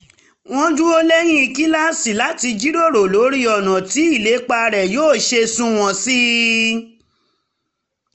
ó dúró lẹ́yìn kíláàsì láti jíròrò lórí ọ̀nà tí ìlépa rẹ̀ yóò ṣe sunwọ̀n sí i